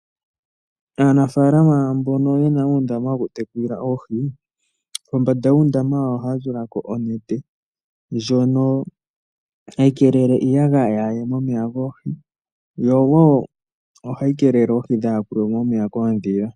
Aanafaalama mbono yena uundama woku tekula oohi kombanda yuundama wawo ohaya tula ko onete ndjono hayi kelele iiyagaya yaaye mo momeya goohi yo wo ohayi kelele oohi dha yakulwe mo momeya koodhila.